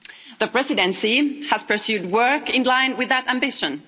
The Presidency has pursued work in line with that ambition.